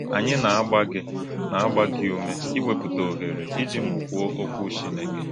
Ányí na-agbá gị na-agbá gị úmè íwépụ̀tà ọ̀hèrè ìjì mụ́kwúò Ọ̀kwú Chínekè.